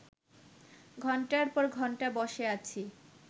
ঘণ্টার পর ঘণ্টা বসে আছি